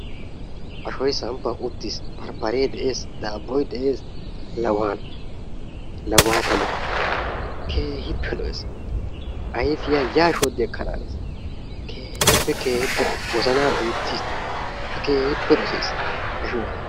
Asgoyi samppan uttis. Barbbaree de"es, daabboyi de"es la waanoo, la waata moo, keehippe lo'es. Ayfiya yaa shodfi ekkanaanes. Keehippe keehippe lo"es wozanaa duuttis tawu ta keehippe dosayis ashuwa.